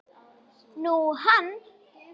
Nú, hann.